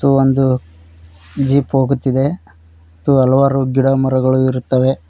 ಇದು ಒಂದು ಜೀಪ್ ಹೋಗುತ್ತಿದೆ ಮತ್ತು ಹಲವಾರು ಗಿಡಮರಗಳಿರುತ್ತವೆ.